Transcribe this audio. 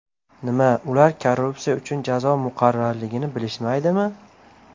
Nima, ular korrupsiya uchun jazo muqarrarligini bilishmaydimi?